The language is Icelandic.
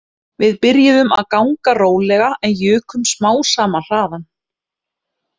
Við byrjuðum að ganga rólega en jukum smám saman hraðann